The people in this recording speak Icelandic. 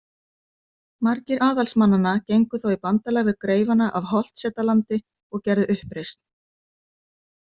Margir aðalsmannanna gengu þá í bandalag við greifana af Holtsetalandi og gerðu uppreisn.